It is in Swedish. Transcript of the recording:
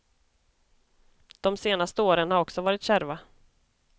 De senaste åren har också varit kärva.